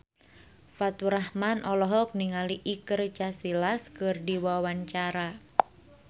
Faturrahman olohok ningali Iker Casillas keur diwawancara